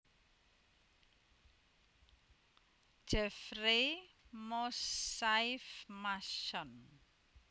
Jeffrey Moussaieff Masson